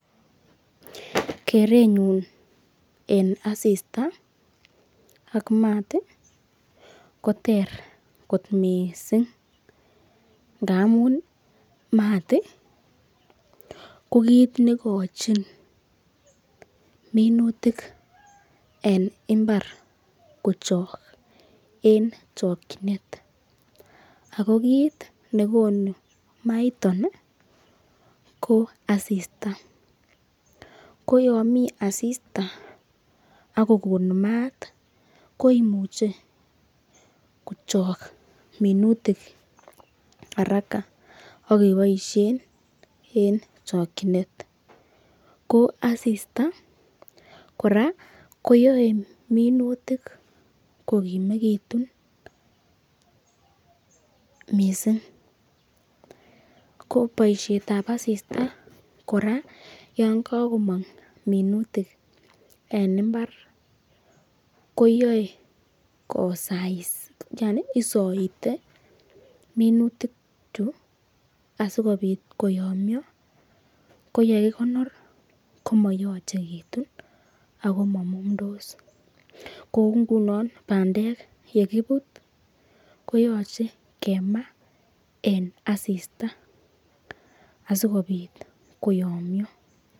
Kirenyun en asista ak maat koter kot mising ngamun maat ko kit ne igochin minutik en mbar kochok en chokinet. Ago kit nekonu maiton ko asista. Ko yon mi asista ak kogon maat koimuche kochok minutik haraka ak keboishen en chokinet. Ko asista kora koyoe minutik ko kimegitun mising. Ko boisiet ab asista kora yon kagomong minutik en mbar koyae kosais yani isoite minutichu asikobit oyomnyo ko ye kikonor komayochegitu ago mamumndos. Kou ngunon bandek ye kibut koyoche kimaa en asista asikobit koyomnyo.